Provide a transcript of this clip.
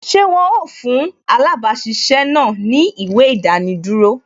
Ṣé wọn ó fún alabasisẹ́ náà ni ìwé idaniduro